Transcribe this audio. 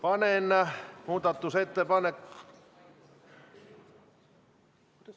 Aitäh!